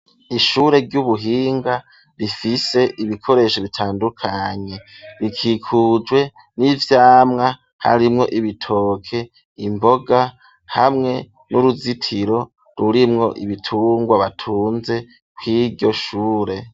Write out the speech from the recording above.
Ishure ry'ubuhinga rifise ibikoresho bitandukanye rikikujwe n'ivyamwa harimwo ibitoke imboga hamwe n'uruzitiro rurimwo ibitungwa batunze kwiryo shure.